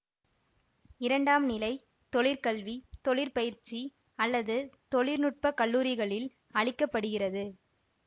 இரண்டாம் நிலை தொழிற்கல்வி தொழிற்பயிற்சி அல்லது தொழில்நுட்ப கல்லூரிகளில் அளிக்க படுகிறது